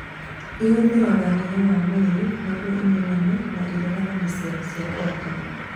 Ĩhũthĩraga hinya wa mwĩrĩ nĩguo imenye na ĩregane na cero cia kanja